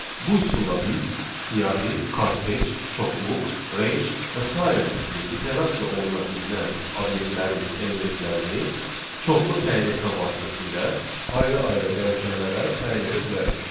Bu üsulla biz siyahı, kortec, çoxluq, range və sairə tipli iterasiya oluna bilinən obyektlərin elementlərini çoxlu təyin etmə vasitəsilə ayrı-ayrı dəyişənlərə təyin edə bilərik.